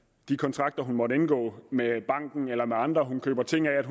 de kontrakter hun måtte indgå med banken eller med andre hun køber ting af